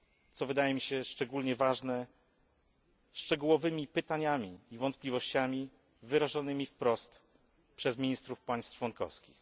co wydaje mi się szczególnie ważne szczegółowymi pytaniami i wątpliwościami wyrażonymi wprost przez ministrów państw członkowskich.